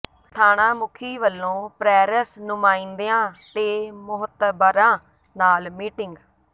ਥਾਣਾ ਮੁਖੀ ਵੱਲੋਂ ਪੈ੍ਰਸ ਨੁਮਾਇੰਦਿਆਂ ਤੇ ਮੋਹਤਬਰਾਂ ਨਾਲ ਮੀਟਿੰਗ